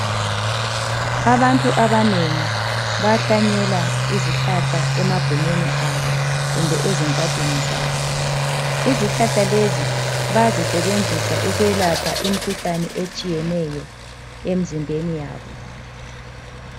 Abantu abanengi bayahlanyela izihlahla emagumeni abo kumbe ezingadini zabo. Izihlahla lezi bayazisebenzisa ukwelapha imikhuhlane etshiyeneyo emzimbeni yabo.